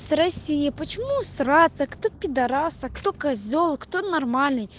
с россей почему мраться кто пидорасы кто козел кто нормальный